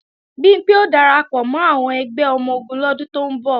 Bimpé ó darapọ̀ mọ́ àwọn ẹgbẹ́ ọmọ-ogun lọ́dún tó ń bọ̀